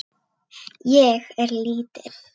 Honum hafði runnið í brjóst.